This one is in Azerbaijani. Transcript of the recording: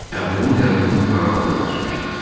Əbdülün qəbrini aralıda qazmışdım.